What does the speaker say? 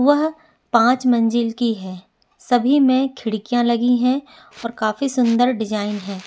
वह पाँच मंजिल की है सभी में खिड़कियाँ लगी है और काफी सुन्दर डिज़ाइन है।